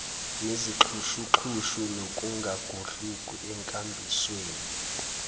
nezixhushuxhushu nokungangudluki enkambisweni